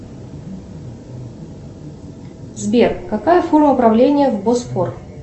сбер какая форма управления в босфор